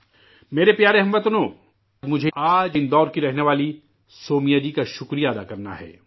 میرے پیارے ہم وطنو، مجھے آج اندور کی رہنے والی سومیا جی کا شکریہ ادا کرنا ہے